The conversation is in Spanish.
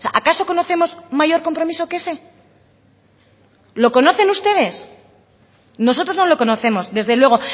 acaso conocemos mayor compromiso que ese lo conocen ustedes nosotros no lo conocemos desde luego